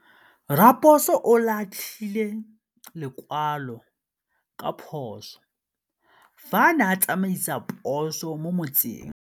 Raposo o latlhie lekwalô ka phosô fa a ne a tsamaisa poso mo motseng.